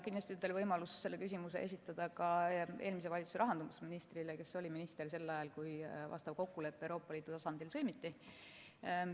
Kindlasti on teil võimalus see küsimus esitada ka eelmise valitsuse rahandusministrile, kes oli minister sel ajal, kui vastav kokkulepe Euroopa Liidu tasandil sõlmiti.